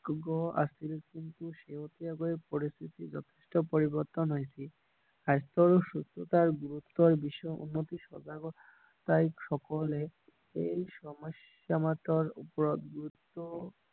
আছিল কিন্তু শেহতীয়াকৈ পৰিস্থিতি যথেষ্ট পৰিবৰ্তন হৈছে স্বাস্থ্য আৰু সুস্থতাৰ বিষয়ে উন্নতি সজাগতা সকলে এই সম্যস্যা ওপৰত গুৰুত্ব